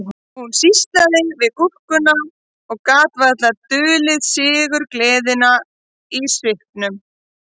Hún sýslaði við gúrkuna og gat varla dulið sigurgleðina í svipnum